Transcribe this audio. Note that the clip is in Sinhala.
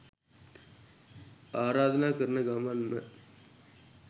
ආරාධනා කරන ගමන්ම